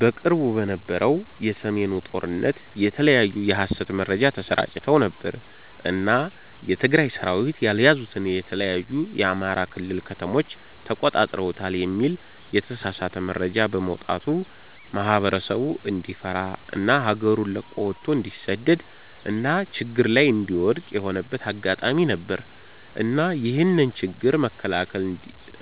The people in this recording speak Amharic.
በቅርቡ በነበረው የ ሰሜኑ ጦርነት የተለያዩ የ ሀሰት መረጃ ተሰራጭተው ነበር እና የ ትግራይ ሰራዊት ያልያዙትን የተለያዩ የ አማራ ክልል ከተሞችን ተቆጣጥረውታል የሚል የተሳሳተ መረጃ በመውጣቱ ማህበረሰቡ እንዲፈራ እና ሀገሩን ለቆ ወቶ እንዲሰደድ እና ችግር ላይ እንዲወድክቅ የሆነበት አጋጣሚ ነበር። እና ይህንን ችግር መከላከል